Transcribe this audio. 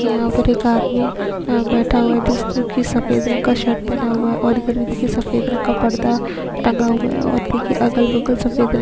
की यहाँ पर एक आदमी अ बैठा हुआ है सफ़ेद रंग का शर्ट पहना हुआ है और इधर भी देखिये सफ़ेद रंग का पर्दा टंगा हुआ है और देखिये अगल-बगल सफ़ेद रंग --